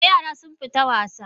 Eh, yaran sun fita wasa